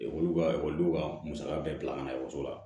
Ekɔli ka ekɔlidenw ka musaka bɛɛ bila ka na ekɔliso la